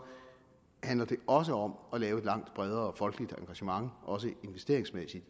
også handler om at lave et langt bredere folkeligt engagement også investeringsmæssigt